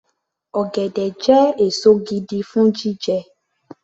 Ọ̀gẹ̀dẹ̀ jẹ́ èso gidi fún jíjẹ